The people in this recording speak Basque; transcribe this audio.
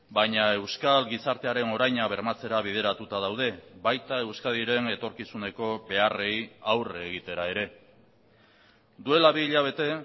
baina euskal gizartearen oraina bermatzera bideratuta daude baita euskadiren etorkizuneko beharrei aurre egitera ere duela bi hilabete